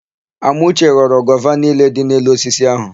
Amauche ghọrọ gova niile dị n'elu osisi áhụ̀.